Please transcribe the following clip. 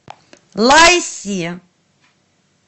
лайси